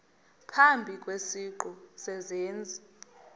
phambi kwesiqu sezenzi